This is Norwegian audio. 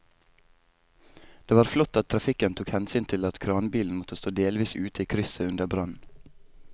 Det var flott at trafikken tok hensyn til at kranbilen måtte stå delvis ute i krysset under brannen.